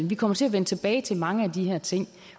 vi kommer til at vende tilbage til mange af de her ting